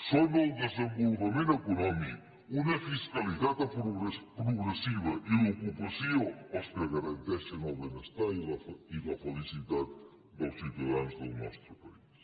són el desenvolupament econòmic una fiscalitat progressiva i l’ocupació els que garanteixen el benestar i la felicitat dels ciutadans del nostre país